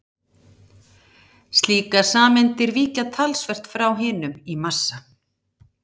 Slíkar sameindir víkja talsvert frá hinum í massa.